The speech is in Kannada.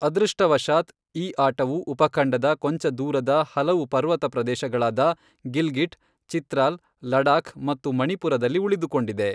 ಅದೃಷ್ಟವಶಾತ್, ಈ ಆಟವು ಉಪಖಂಡದ ಕೊಂಚ ದೂರದ ಹಲವು ಪರ್ವತ ಪ್ರದೇಶಗಳಾದ ಗಿಲ್ಗಿಟ್, ಚಿತ್ರಾಲ್, ಲಡಾಖ್ ಮತ್ತು ಮಣಿಪುರದಲ್ಲಿ ಉಳಿದುಕೊಂಡಿದೆ.